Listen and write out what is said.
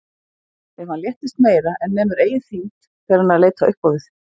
Ef hann léttist meira en nemur eigin þyngd fer hann að leita upp á við.